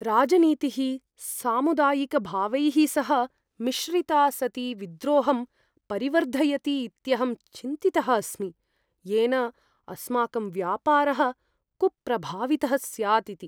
राजनीतिः सामुदायिकभावैः सह मिश्रिता सती विद्रोहं परिवर्धयति इत्यहं चिन्तितः अस्मि, येन अस्माकं व्यापारः कुप्रभावितः स्यात् इति।